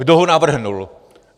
Kdo ho navrhl.